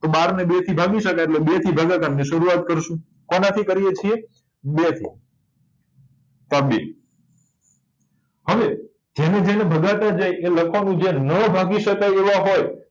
તો બાર ને બેઠી ભાગી શકાય એટલે બે થી ભાગાકાર ની શરૂઆત કરીશું કોના થીન કરીએ છીએ બે થી તો આ બે હવે જેને જેને ભગાતા જાય એ લસા મુજબ નાં ભાગી શકાય એવા હોય